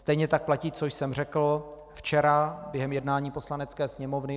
Stejně tak platí, co jsem řekl včera během jednání Poslanecké sněmovny.